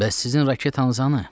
Bəs sizin raketanız hanı?